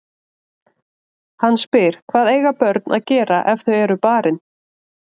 Hann spyr: Hvað eiga börn að gera ef þau eru barin?